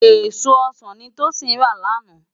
Ésó ọsan ni Tosin rá làná